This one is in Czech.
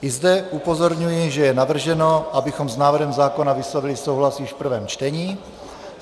I zde upozorňuji, že je navrženo, abychom s návrhem zákona vyslovili souhlas již v prvém čtení.